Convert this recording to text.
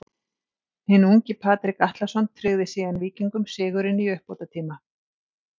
Hinn ungi Patrik Atlason tryggði síðan Víkingum sigurinn í uppbótartíma.